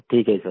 ठीक है सर